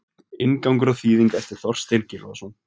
Inngangur og þýðing eftir Þorstein Gylfason.